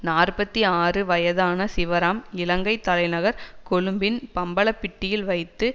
நாற்பத்தி ஆறு வயதான சிவராம் இலங்கை தலைநகர் கொழும்பின் பம்பலப்பிட்டியில் வைத்து